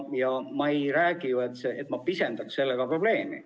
Ja ma räägin ju, et ma ei pisenda sellega probleemi.